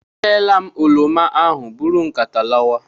E reela m oroma ahụ, bụrụ nkata lawa!